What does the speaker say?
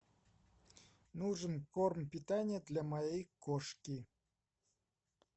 нужен корм питание для моей кошки